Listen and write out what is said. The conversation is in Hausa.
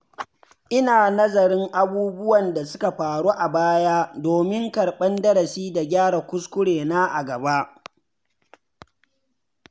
Ina nazarin abubuwan da suka faru a baya domin karɓar darasi da gyara kuskure na a gaba.